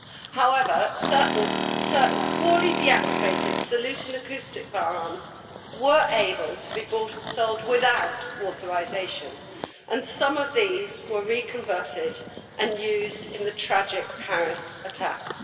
However, certain poorly deactivated salute and acoustic' firearms were able to be bought and sold without authorisation, and some of these were re converted and used in the tragic Paris attacks.